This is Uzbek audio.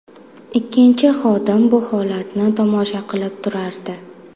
Ikkinchi xodim bu holatni tomosha qilib turardi.